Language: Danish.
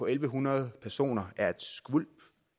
en hundrede personer er et skvulp